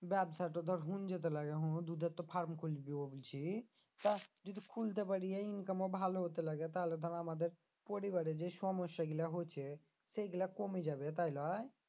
ব্যাবসা টো ধর হুন যেতে লাগে মু দুধের তো farm খুলবো ভাবছি যদি খুলতে পারি এই income ও ভালো হতে লাগে তাহলে ধর আমাদের পরিবারে যে সমস্যা গুলা হচ্ছে সেই গুলা কমে যাবে তাই লই?